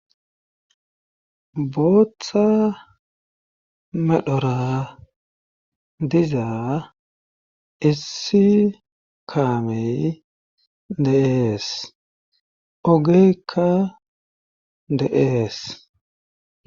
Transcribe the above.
booththa medhora diza issi kaamey deees ogeykka de7ees